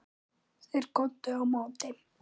Þeir góndu á móti.